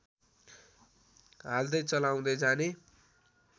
हाल्दै चलाउँदै जाने